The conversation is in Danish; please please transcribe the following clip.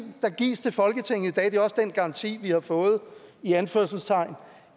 der gives til folketinget og det er også den garanti vi har fået i anførselstegn